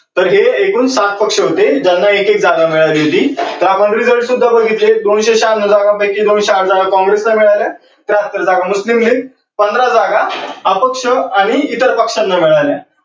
तर हे एकूण सात पक्ष होते ज्यांना एक एक जागा मिळाली होती. त्यामध्ये result सुद्धा बघितले दोनशे शहान्नौ जागांपैकी दोनशे आठ जागा काँग्रेस ला मिळाल्या. त्या नंतर झाल मुस्लीम लीग, पंधरा जागा अपक्ष आणि इतर पक्षांना मिळाल्या.